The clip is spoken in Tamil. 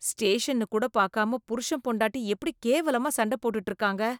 ஸ்டேஷன்னு கூட பாக்காம புருஷன் பொண்டாட்டி எப்டி கேவலமா சண்டப் போட்டுட்டு இருக்காங்க.